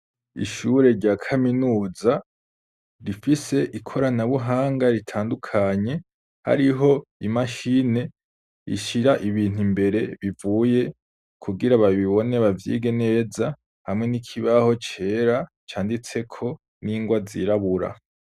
Ishure rya kaminuza, rifise ikoranabuhanga ritandukanye, hariho imashini ishira ibintu imbere bivuye, kugira babibone bavyige neza, hamwe n'ikibaho cera canditseko n'ingwa zirabura.